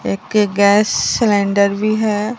एक gas cylinder भी है।